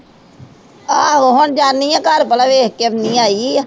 ਆਹੋ ਹੁਣ ਜਾਨੀ ਹਾਂ ਘਰ ਪਹਿਲਾਂ ਵੇਖ ਕੇ ਆਉਂਦੀ ਹਾਂ ਆਈ ਹੈ।